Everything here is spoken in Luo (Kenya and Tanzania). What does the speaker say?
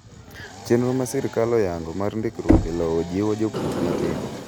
Chenro ma sirkal oyango mar ndikruok e lowo jiwo jopur matindo.